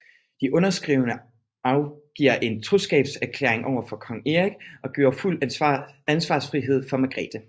De underskrivende afgiver en troskabserklæring over for kong Erik og giver fuld ansvarsfrihed for Margrete